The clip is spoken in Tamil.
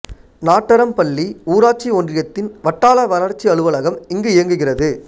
நாட்டறம்பள்ளி ஊராட்சி ஒன்றியத்தின் வட்டார வளர்ச்சி அலுவலகம் இங்கு இயங்குகிறது